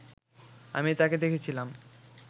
আমি তাকে দেখেছিলাম